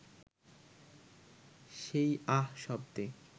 সেই আহ শব্দে